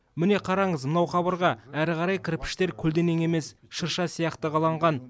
міне қараңыз мынау қабырға әрі қарай кірпіштер көлденең емес шырша сияқты қаланған